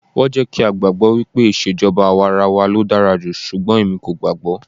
Wọ́n jẹ́ kí á gbàgbọ́ wípé ìṣèjọba àwarawa ló dára jù, ṣùgbọ́n èmi kò gbàágbọ́.